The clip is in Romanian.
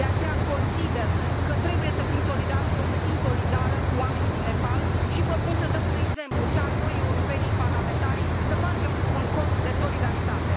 De aceea consider că trebuie să fim solidari și eu mă simt solidară cu oamenii din Nepal și propun să dăm un exemplu chiar noi europenii, parlamentarii să facem un cont de solidaritate.